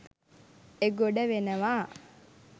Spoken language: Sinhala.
එගොඩ වෙනවා